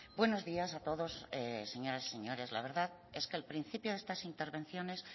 buenos días a todos señoras y señores la verdad es que al principio de estas intervenciones